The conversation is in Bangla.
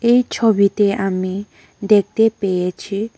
এই ছবিতে আমি দেখতে পেয়েছি--